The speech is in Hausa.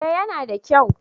Eh ya na da kyau